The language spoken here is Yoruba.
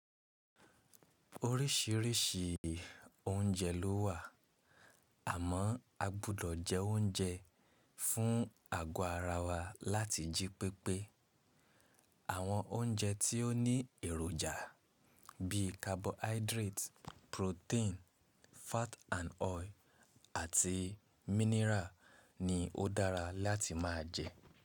Oríṣiríṣi oúnjẹ lówà, àmọ́ a gbọ́dọ̀ jẹ oúnjẹ fún àgo ara wa láti jí pépé. Àwọn oúnjẹ tí ó ní èròjà bíi carbohydrate, protein, fat and oil àti mineral ni ó dára láti máa jẹ.